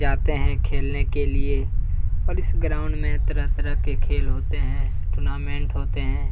जाते हैं खेलने के लिए और इस ग्राउंड में तरह तरह के खेल होते हैं टूर्नामेंट होते हैं।